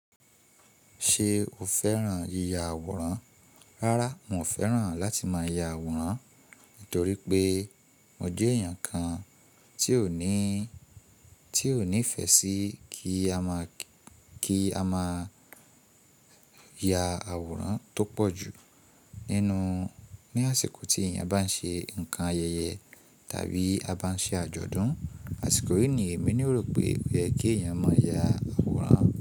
Ṣe o fẹ́ran yíya àwòrán? Rárá, n ò fẹ́ran láti máa ya àwòrán nítorí pé mo jẹ́ èèyàn kan tí ò ní, tí ò nífẹ̀ẹ́ sí kí a máa, kí a máa ya àwòrán tó pọ̀ jù nínú, ní àsìkò tí èèyàn bá ń ṣe nǹkan ayẹyẹ tàbí a bá ń ṣe àjọ̀dún. Àsìkò yìí ni èmi ni ó rò pé ó yẹ kí èèyàn máa ya àwòrán.